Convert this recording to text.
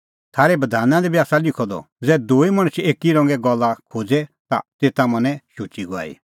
थारै बधाना दी बी आसा लिखअ द ज़ै दूई मणछ एकी रंगे गल्ला खोज़े ता तेता मना शुची गवाही